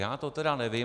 Já to tedy nevím.